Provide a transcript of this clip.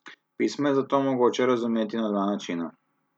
Pismo je zato mogoče razumeti na dva načina.